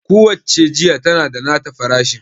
ku wacce jiya tana da nata farashin